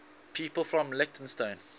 people from leytonstone